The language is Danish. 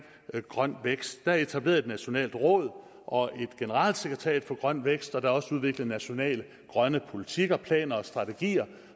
grøn vækst på er etableret et nationalt råd og et generalsekretariat for grøn vækst og der er også udviklet nationale grønne politikker planer og strategier